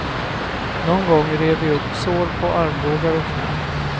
Någon gång rev vi upp sår på armbågar och knän.